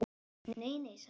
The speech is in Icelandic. Nei, nei, sagði Lási.